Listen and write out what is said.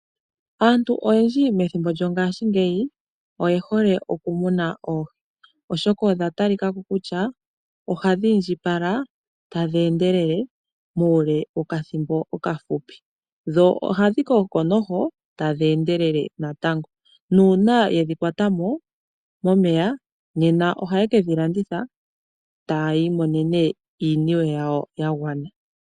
Aantu oyendji methimbo lyongaashingeyi oye hole okumuna oohi, oshoka odha talika ko kutya ohadhi indjipala tadhi endelele muule wokathimbo okafupi. Dho ohadhi koko tadhi endele. Uuna yedhi kwatamo momeya oha ye kedhi landitha e taa imonene mo iiniwe yawo yagwana.